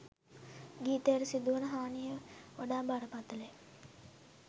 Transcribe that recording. ගීතයට සිදුවන හානිය වඩා බරපතල ය.